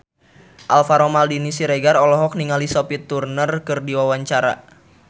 Alvaro Maldini Siregar olohok ningali Sophie Turner keur diwawancara